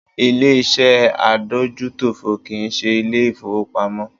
Ilé ìṣẹ́ adójútòfò kì í ṣe Ilé ìfowópamọ́